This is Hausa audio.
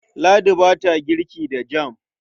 Ladi ba ta girki da jam.